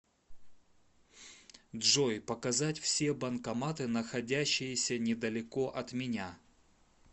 джой показать все банкоматы находящиеся недалеко от меня